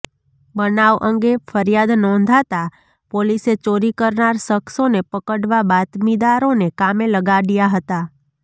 બનાવ અંગે ફરિયાદ નોંધાતા પોલીસે ચોરી કરનાર શખસોને પકડવા બાતમીદારોને કામે લગાડ્યા હતાં